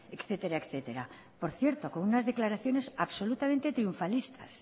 etcétera etcétera por cierto con unas declaraciones absolutamente triunfalistas